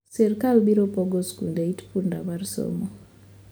Sirkal biro pogo skunde itpunda mar somo